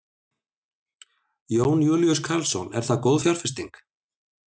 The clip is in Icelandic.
Jón Júlíus Karlsson: Er það góð fjárfesting?